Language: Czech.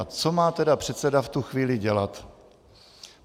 A co má tedy předseda v tu chvíli dělat?